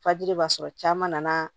Fajiri b'a sɔrɔ caman nana